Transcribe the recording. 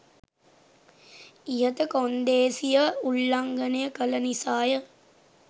ඉහත කොන්දේසිය උල්ලංගනය කළ නිසාය.